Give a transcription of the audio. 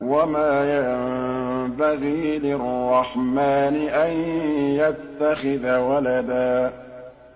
وَمَا يَنبَغِي لِلرَّحْمَٰنِ أَن يَتَّخِذَ وَلَدًا